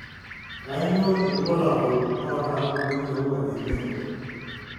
Kainyio irbulabul onaapuku enkirowuaj edengue?